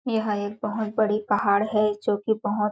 यह एक बहुत बड़ी पहाड़ है जो की बहुत --